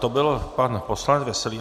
To byl pan poslanec Veselý.